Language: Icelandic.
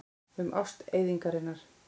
Um ást eyðingarinnar.